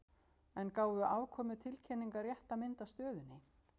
En gáfu afkomutilkynningar rétta mynd af stöðunni?